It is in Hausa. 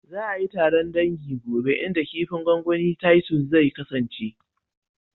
Za a yi taron dangi gobe inda kifin gwangwanin titus zai kasance